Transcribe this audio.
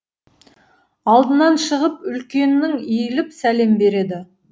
алдынан шығып үлкеннің иіліп сәлем береді